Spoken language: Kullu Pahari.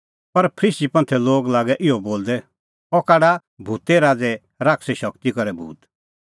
पर फरीसी लागै इहअ बोलदै अह काढा भूते राज़ै शैताने शगती करै भूत